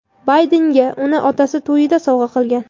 Baydenga uni otasi to‘yida sovg‘a qilgan.